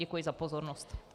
Děkuji za pozornost.